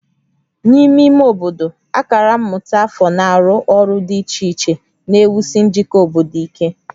N'ime ime obodo, akara mmụta afọ na-arụ ọrụ dị iche iche na-ewusi njikọ obodo ike